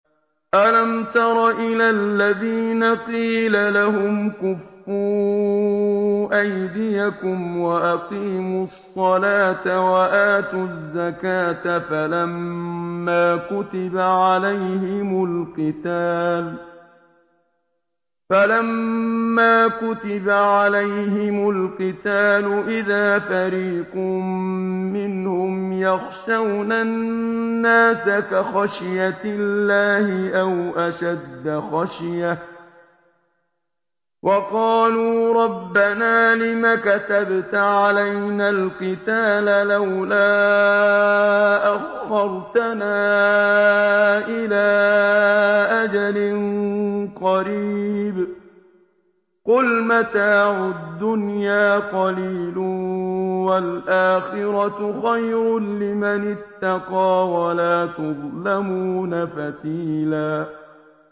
أَلَمْ تَرَ إِلَى الَّذِينَ قِيلَ لَهُمْ كُفُّوا أَيْدِيَكُمْ وَأَقِيمُوا الصَّلَاةَ وَآتُوا الزَّكَاةَ فَلَمَّا كُتِبَ عَلَيْهِمُ الْقِتَالُ إِذَا فَرِيقٌ مِّنْهُمْ يَخْشَوْنَ النَّاسَ كَخَشْيَةِ اللَّهِ أَوْ أَشَدَّ خَشْيَةً ۚ وَقَالُوا رَبَّنَا لِمَ كَتَبْتَ عَلَيْنَا الْقِتَالَ لَوْلَا أَخَّرْتَنَا إِلَىٰ أَجَلٍ قَرِيبٍ ۗ قُلْ مَتَاعُ الدُّنْيَا قَلِيلٌ وَالْآخِرَةُ خَيْرٌ لِّمَنِ اتَّقَىٰ وَلَا تُظْلَمُونَ فَتِيلًا